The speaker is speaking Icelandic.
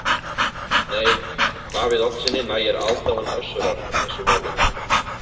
Nei, Davíð Oddssyni nægir aðdáun Össurar í þessu máli.